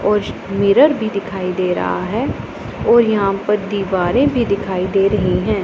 और मिरर भी दिखाई दे रहा है और यहां पर दीवारें भी दिखाई दे रही हैं।